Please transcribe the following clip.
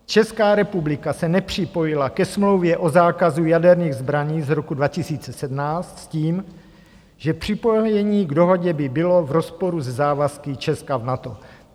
Česká republika se nepřipojila k Smlouvě o zákazu jaderných zbraní z roku 2017 s tím, že připojení k dohodě by bylo v rozporu se závazky Česka v NATO.